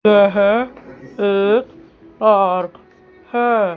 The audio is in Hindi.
यह एक पार्क है।